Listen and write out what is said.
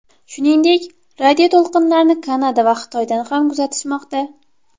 Shuningdek, radioto‘lqinlarni Kanada va Xitoydan ham kuzatishmoqda.